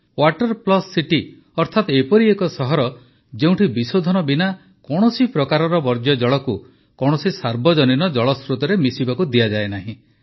water plus city ଅର୍ଥାତ ଏପରି ଏକ ସହର ଯେଉଁଠି ବିଶୋଧନ ବିନା କୌଣସି ପ୍ରକାରର ବର୍ଜ୍ୟଜଳକୁ କୌଣସି ସାର୍ବଜନୀନ ଜଳସ୍ରୋତରେ ମିଶିବାକୁ ଦିଆଯାଏ ନାହିଁ